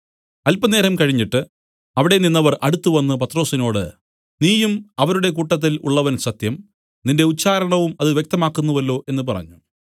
അല്പനേരം കഴിഞ്ഞിട്ട് അവിടെ നിന്നവർ അടുത്തുവന്നു പത്രൊസിനോട് നീയും അവരുടെ കൂട്ടത്തിൽ ഉള്ളവൻ സത്യം നിന്റെ ഉച്ചാരണവും അത് വ്യക്തമാക്കുന്നുവല്ലോ എന്നു പറഞ്ഞു